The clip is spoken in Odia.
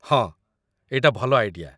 ହଁ, ଏଇଟା ଭଲ ଆଇଡ଼ିଆ ।